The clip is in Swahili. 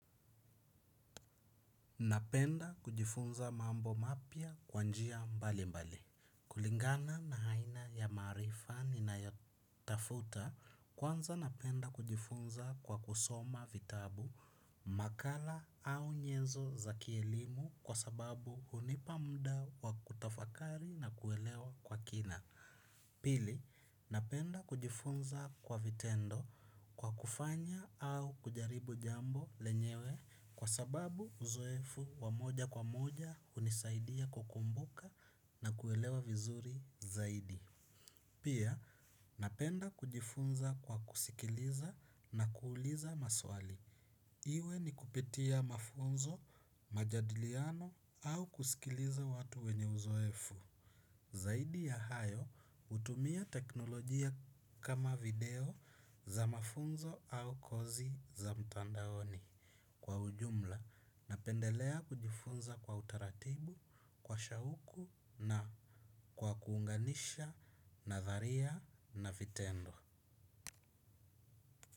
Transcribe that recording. Napenda kujifunza mambo mapya kwa njia mbali mbali. Kulingana na aina ya marifa ninayotafuta kwanza napenda kujifunza kwa kusoma vitabu, makala au nyenzo za kielimu kwa sababu hunipa muda wa kutafakari na kuelewa kwa kina. Pili, napenda kujifunza kwa vitendo kwa kufanya au kujaribu jambo lenyewe kwa sababu uzoefu wamoja kwa moja hunisaidia kukumbuka na kuelewa vizuri zaidi. Pia, napenda kujifunza kwa kusikiliza na kuuliza maswali. Iwe ni kupitia mafunzo, majadiliano au kusikiliza watu wenye uzoefu. Zaidi ya hayo, hutumia teknolojia kama video za mafunzo au kozi za mtandaoni. Kwa ujumla, napendelea kujifunza kwa utaratibu, kwa shauku na kwa kuunganisha nadharia na vitendo.